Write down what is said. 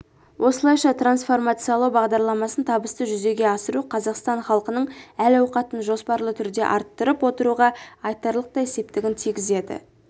осылайша трансформациялау бағдарламасын табысты жүзеге асыру қазақстан халқының әл-ауқатын жоспарлы түрде арттырып отыруға айтарлықтай септігін тигізеді